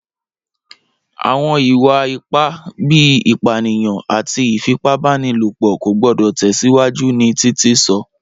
Awọn iwa-ipa bii ipaniyan ati ifipabanilopo ko gbọdọ tẹsiwaju ni Titi sọ.